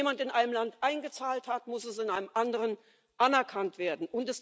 Wenn jemand in einem Land eingezahlt hat, muss es in einem anderen anerkannt werden.